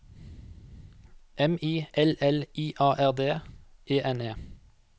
M I L L I A R D E N E